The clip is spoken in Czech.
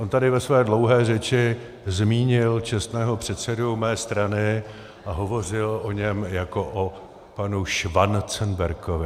On tady ve své dlouhé řeči zmínil čestného předsedu mé strany a hovořil o něm jako o panu Schwanzenbergovi.